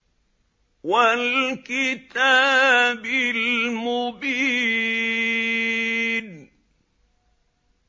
وَالْكِتَابِ الْمُبِينِ